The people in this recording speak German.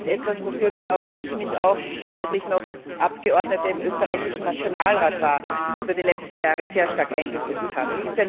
Das ist etwas, wofür auch ich mich als ich noch Abgeordnete im österreichischen Nationalrat war in den letzten Jahren sehr stark eingesetzt habe.